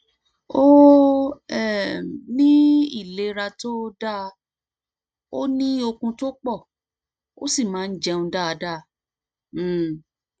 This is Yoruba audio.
ó um ní ìlera tó dáa ó ní okun tó pọ ó sì máa ń jẹun dáadáa um